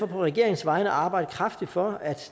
på regeringens vegne arbejde kraftigt for at